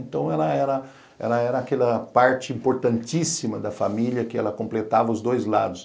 Então ela era ela era aquela parte importantíssima da família que ela completava os dois lados.